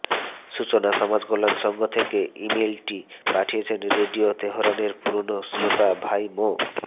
সূচনা সমাজকল্যাণ সংঘ থেকে ইমেইলটি পাঠিয়েছেন রেডিও তেহরানের পুরনো শ্রোতা ভাই মোঃ